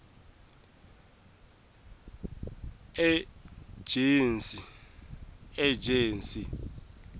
ejensi